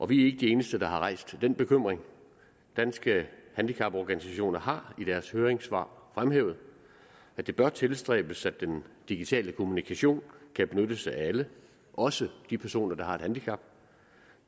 vi er ikke de eneste der har rejst den bekymring danske handicaporganisationer har i deres høringssvar fremhævet at det bør tilstræbes at den digitale kommunikation kan benyttes af alle også af de personer der har et handicap